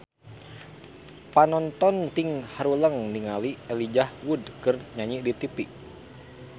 Panonton ting haruleng ningali Elijah Wood keur nyanyi di tipi